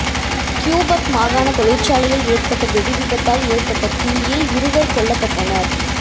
Quebec மாகாண தொழிற்சாலையில் ஏற்பட்ட வெடிவிபத்தால் ஏற்பட்ட தீயில் இருவர் கொல்லப்பட்டனர்